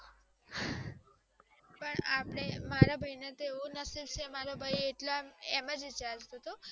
પણ મારા ભઈ ના તેવું નશે મારો ભાઈ એટલા એમજ વિચાર્યું.